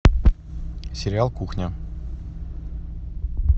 сериал кухня